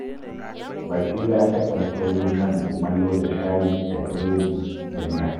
Barira takan so yin karin kumallo da shayi da buredi da miya